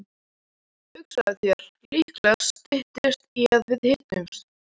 Hugsaðu þér, líklega styttist í að við hittumst.